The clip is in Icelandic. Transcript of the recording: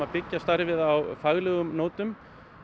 byggja upp starfið á faglegum nótum